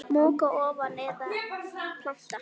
Moka ofan í eða planta?